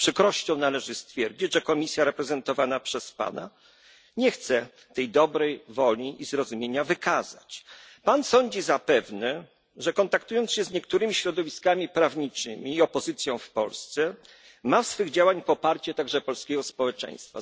Z przykrością należy stwierdzić, że reprezentowana przez pana Komisja nie chce tej dobrej woli i zrozumienia wykazać. Sądzi pan zapewne, że kontaktując się z niektórymi środowiskami prawniczymi i opozycją w Polsce, ma w swych działaniach poparcie także polskiego społeczeństwa.